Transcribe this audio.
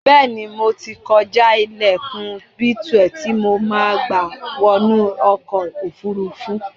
Bẹ́ẹ̀ ni, mo ti kọjá ilẹlkùn B12 tí mo máa gba wọnu ọkọ̀-òfurufú.